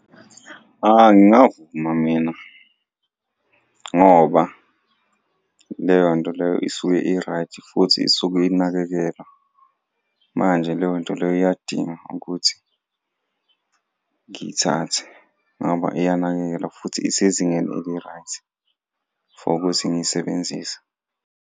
Ayi ngingavuma mina ngoba leyonto leyo isuke i-right futhi isuke inakekelwa, manje leyonto leyo iyadinga ukuthi ngiyithathe ngoba iyanakekelwa futhi isezingeni eli-right for ukuthi ngiyisebenzise.